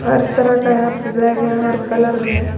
हर तरह का यहां पे बैग है हर कलर में।